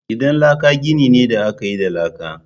Gidan laka gini ne da aka yi da laka